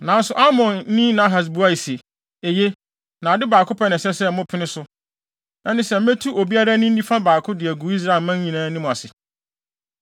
Nanso Amonni Nahas buae se, “Eye, na ade baako pɛ na ɛsɛ sɛ mopene so. Ɛne sɛ, metu obiara ani nifa baako de agu Israel nyinaa anim ase.”